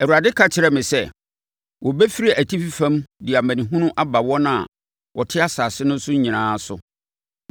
Awurade ka kyerɛɛ me sɛ, “Wɔbɛfiri atifi fam de amanehunu aba wɔn a wɔte asase no so nyinaa so.